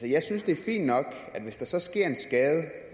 jeg synes det er fint nok at hvis der så sker en skade